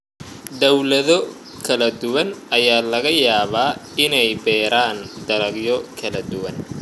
Dawlado kala duwan ayaa laga yaabaa inay beeraan dalagyo kala duwan.